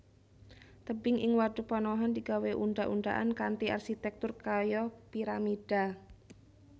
Tebing ing wadhuk panohan digawé undhak undhakan kanthi arsitèktur kaya piramida